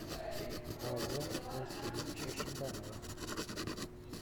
павла васильевича шибанова